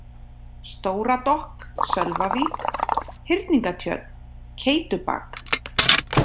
Stóradokk, Sölvavík, Hyrningatjörn, Keytubak